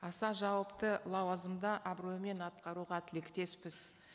аса жауапты лауазымды абыроймен атқаруға тілектеспіз